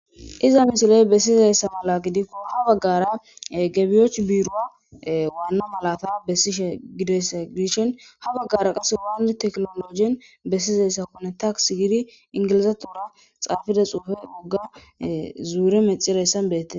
Iza misiley besizays mala gidikon ha bagara gebiwoch biruwa Wana malata besishe gudaysa gidishn ha bagara qase wal tekinolojen besizaysakone takis (tax) gid engilzathora xafidaysa zure methidatsan betes